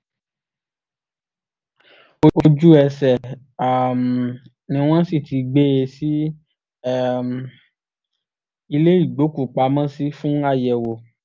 ojú-ẹsẹ̀ um ni wọ́n sì ti gbé e sí um ilé ìgbókùú-pamọ́ sí fún àyẹ̀wò